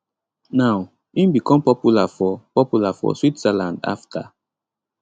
now im become popular for popular for switzerland afta